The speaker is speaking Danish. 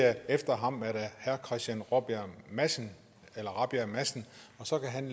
at efter ham er det herre christian rabjerg madsen rabjerg madsen og så kan han